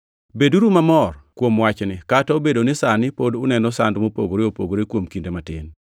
Beduru mamor kuom wachni, kata obedo ni sani pod uneno sand mopogore opogore kuom kinde matin.